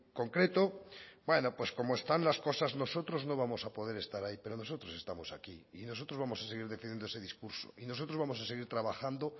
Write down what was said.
concreto bueno pues como están las cosas nosotros no vamos a poder estar ahí pero nosotros estamos aquí y nosotros vamos a seguir defendiendo ese discurso y nosotros vamos a seguir trabajando